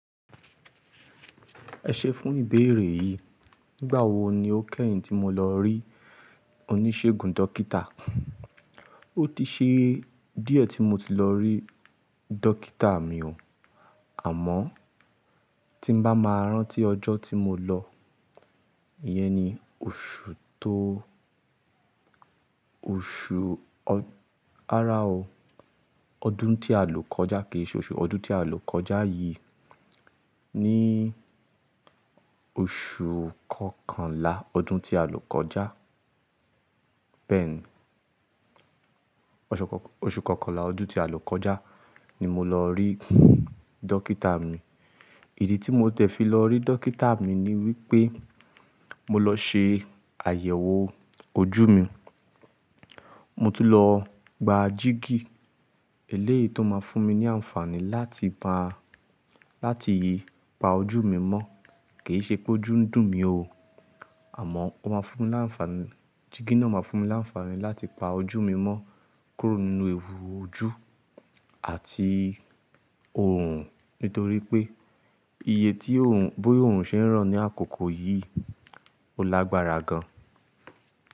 Ẹ ṣe fún ìbéèrè yìí, nígbà wo ni ó kẹ́yìn tí mo lọ rí oníṣègùn dókítà? Ó ti ṣe díẹ̀ tí mo ti lọ rí dókítà mi o. Àmọ́ tí ń bá máa rántí ọjọ́ tí mo lọ, ìyẹn ni oṣù tó oṣù, rara o, ọdún tí àlùkọ́já kì í ṣe oṣù, ọdún tí àlùkọ́já yìí. Ni oṣù kọkànlá ọdún tí àlùkọ́já, bẹ́ẹ̀ni, oṣù kọkànlá ọdún tí àlùkọ́já ni mo lọ rí dókítà mi. Ìdí tí mo tẹ̀ fi lọ rí dókítà mi ni wípé mo lọ ṣe àyẹ̀wò ojú mi. Mo ti lọ gba jígí. Eléyìí tó máa fún mi ní àǹfààní láti pa, láti pa ojú mi mọ́. Kì í ṣe pé ojú ń dùn mí o. Àmọ́ ó máa fún mi láǹfàní, jígí náà máa fún mi láǹfààní láti pa ojú mi mọ́ kúrò nínú ewu ojú àti òòrùn. Nítorí pé iye tí bóòòrùn ṣe ń ràn ní àkókò yìí ò lágbára gan.